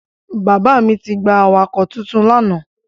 Bàbá mi ti gba awakọ̀ titun lánàá.